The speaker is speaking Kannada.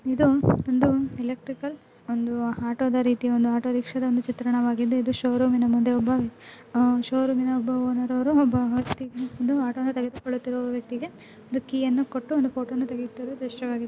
ಇದು ಒಂದು ಎಲೆಕ್ಟ್ರಿಕಲ್ ಒಂದು ಆಟೋ ದ ರೀತಿ ಒಂದು ಆಟೋ-ರಿಕ್ಷಾ ದ ಒಂದು ಚಿತ್ರಣವಾಗಿದೆ. ಇದು ಷೋರೂಮ್ ಮುಂದೆ ಒಬ್ಬ ಷೋರೂಮ್ನ ಒಬ್ಬ ಓನರ್ ಒಬ್ಬ ಆಟೋ ತಗೆದುಕೊಳ್ಳುತಿರುವ ವ್ಯಕ್ತಿಗೆ ಒಂದು ಕೀಯನ್ನು ಕೊಟ್ಟು ಒಂದು ಫೋಟೋ ತೆಗೆಯುತ್ತಿರುವ ದೃಶ್ಯವಾಗಿದೆ.